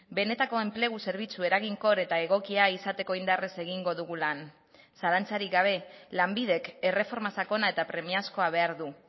benetako enplegu zerbitzu eraginkor eta egokia izateko indarrez egingo dugu lan zalantzarik gabe lanbidek erreforma sakona eta premiazkoa behar du